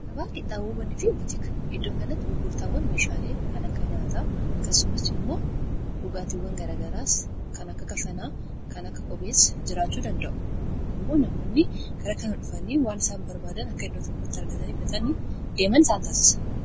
Gabaa qinxaaboo fi butikaa iddoo kanatti gurgurtaawwan meeshaalee kan akka nyaataa, kaan isaanii immoo dhugaatiwwan garagaraas kan akka kafanaa, kan akka qophees jiraachuu danda'u. Kun immoo namoonni karaa kan dhufanii waan isaan barbaadan akka iddoo tokkotti argatanii itti fayyadamaa deeman isaan taasisa.